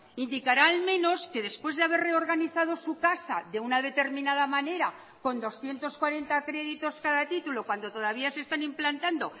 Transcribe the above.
indicará al menos que después de haber reorganizado su casa de una determinada manera con doscientos cuarenta créditos cada título cuando todavía se están implantando